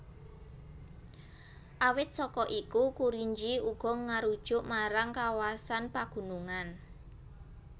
Awit saka iku Kurinji uga ngarujuk marang kawasan pagunungan